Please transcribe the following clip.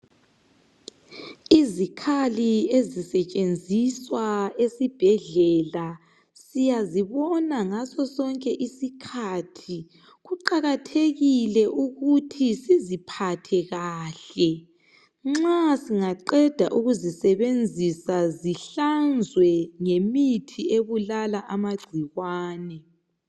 Izikhali ezisetshenziswa esibhedlela, siyazibona ngaso sonke usikhathi. Kuqakathekile ukuthi siziphathe kahle. Nxa singaqeda ukuzisebenzisa, zihlanzwe ngemuthi, ebulala amagcikwane.